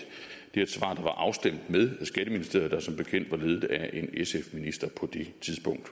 et svar der var afstemt med skatteministeriet der som bekendt var ledet af en sf minister på det tidspunkt